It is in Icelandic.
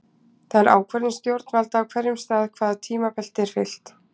Það er ákvörðun stjórnvalda á hverjum stað hvaða tímabelti er fylgt.